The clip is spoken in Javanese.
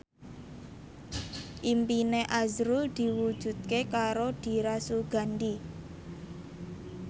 impine azrul diwujudke karo Dira Sugandi